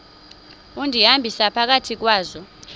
undihambisa phakathi kwazo